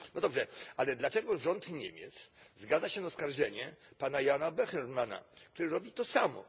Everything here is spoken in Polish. No dobrze, ale dlaczego rząd Niemiec zgadza się na oskarżenie pana Jana Böhmermanna, który robi to samo.